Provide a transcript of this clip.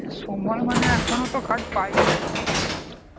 সময় মানে এখনতো card পাইনি